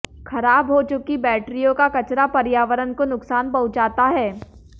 खराब हो चुकी बैटरियों का कचरा पर्यावरण को नुकसान पहुंचाता है